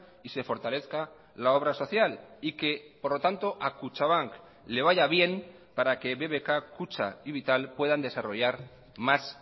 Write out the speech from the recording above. y se fortalezca la obra social y que por lo tanto a kutxabank le vaya bien para que bbk kutxa y vital puedan desarrollar más